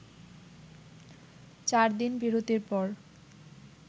চারদিন বিরতির পর